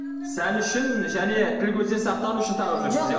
сән үшін және тіл көзден сақтану үшін тағып жүресіз иә